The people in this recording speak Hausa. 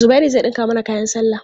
Zubairu zai ɗinka mana kayan sallah.